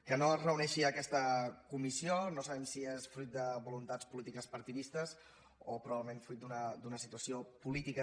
que no es reuneixi aquesta comissió no sabem si és fruit de voluntats polítiques partidistes o probablement fruit d’una situació política